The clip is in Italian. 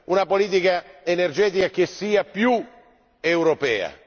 una politica energetica che sia più europea.